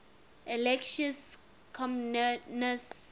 alexius comnenus